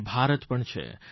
અને ભારત પણ છે